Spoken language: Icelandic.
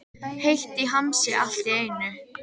Heitt í hamsi allt í einu.